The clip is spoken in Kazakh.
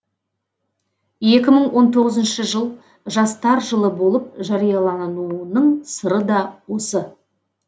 екі мың он тоғызыншы жыл жастар жылы болып жариялануының сыры да осы